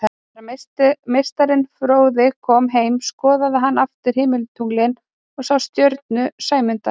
Þegar meistarinn fróði kom heim skoðaði hann aftur himintunglin og sá stjörnu Sæmundar.